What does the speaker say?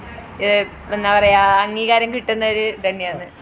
എഹ് എന്താ പറയാ അംഗീകാരം കിട്ടുന്നത് ഇതന്നെണ്